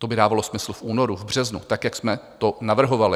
To by dávalo smysl v únoru, v březnu, tak jak jsme to navrhovali.